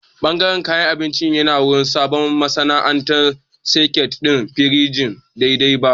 Ɓangaren kayan abinci yana wari saboda ba'a sa soket ɗin firijin daidai ba